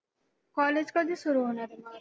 college कधी सुरू होणारे मग?